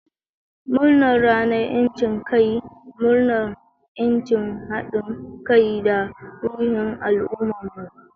Murnar Ranar 'Yancin Kai! Murnar 'yanci, hadin kai, da ruhin al'ummarmu.